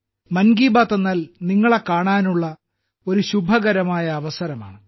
മൻ കി ബാത്ത് എന്നാൽ നിങ്ങളെ കാണാനുള്ള ഒരു ശുഭകരമായ അവസരമാണ്